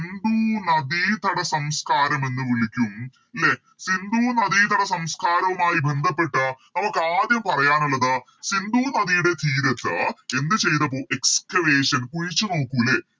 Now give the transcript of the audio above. സിന്ധു നദിതട സംസ്കാരം എന്ന് വിളിക്കും ലെ സിന്ധു നദിതട സംസ്കാരവുമായി ബന്ധപ്പെട്ട് നമുക്ക് ആദ്യം പറയാനുള്ളത് സിന്ധു നദിയുടെ തീരത്ത് എന്ത് ചെയ്തപ്പോ Excavation കുഴിച്ച് നോക്കു ലെ